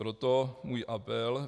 Proto můj apel.